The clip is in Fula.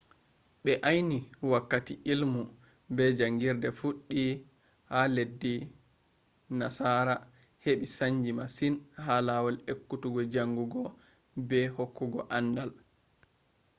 ɓe ayni wakkati illmu be jaangirde fuɗɗi a leddi nasara heɓɓi saanji masin ha lawol ekkutuggo jaangugo be hokkugo aandal